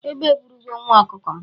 Egbe eburogo nwa ọkụkọ m.